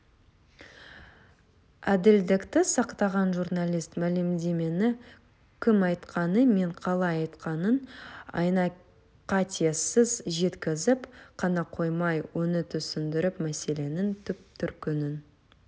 әділдікті сақтаған журналист мәлімдемені кім айтқаны мен қалай айтқанын айна қатесіз жеткізіп қана қоймай оны түсіндіріп мәселенің түп-төркінін